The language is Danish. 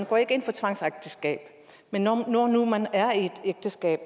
går ind for tvangsægteskaber men når nu man er i et ægteskab